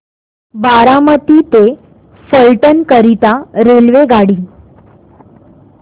बारामती ते फलटण करीता रेल्वेगाडी